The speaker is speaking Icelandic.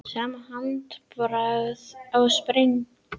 Sama handbragð á sprengjum